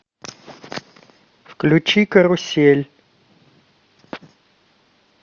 включи карусель